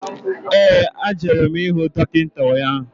ee agara m ihụ dọkịta ụnyaahụ